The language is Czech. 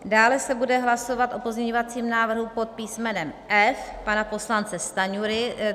Dále se bude hlasovat o pozměňovacím návrhu pod písmenem F pana poslance Stanjury.